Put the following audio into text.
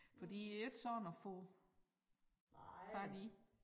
For de jo ikke sådan at få fat i